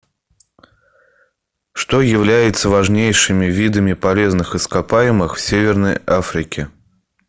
что является важнейшими видами полезных ископаемых в северной африке